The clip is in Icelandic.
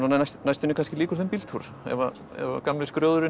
næstunni kannski lýkur þeim bíltúr ef að gamli